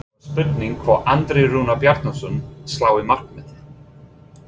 Þá er spurning hvort Andri Rúnar Bjarnason slái markametið?